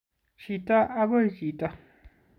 Chito akoi chito